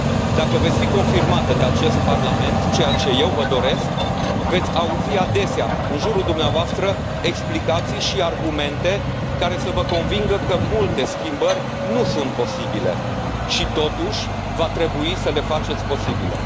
Dacă veți fi confirmată de acest Parlament, ceea ce eu vă doresc, veți auzi adesea în jurul dumneavoastră explicații și argumente care să vă convingă că multe schimbări nu sunt posibile și, totuși, va trebui să le faceți posibile.